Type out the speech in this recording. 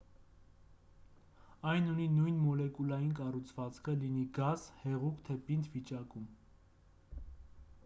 այն ունի նույն մոլեկուլային կառուցվածքը լինի գազ հեղուկ թե պինդ վիճակում